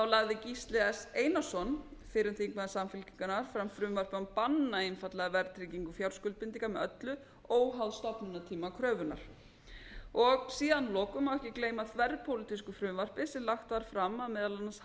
lagði gísli s einarsson fyrrum þingmaður samfylkingarinnar fram frumvarp um að banna einfaldlega verðtryggingu fjárskuldbindinga með öllu óháð stofnunartíma kröfunnar síðan að lokum má ekki gleyma þverpólitísku frumvarpi sem lagt var fram af meðal annars